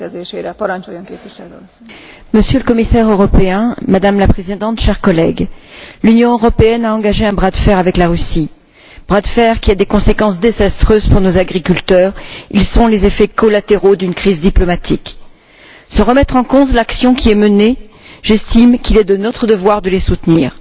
Madame la Présidente, Monsieur le Commissaire, chers collègues, l'Union européenne a engagé un bras de fer avec la Russie, bras de fer qui a des conséquences désastreuses pour nos agriculteurs ce sont les effets collatéraux d'une crise diplomatique. Sans remettre en cause l'action qui est menée, j'estime qu'il est de notre devoir de les soutenir.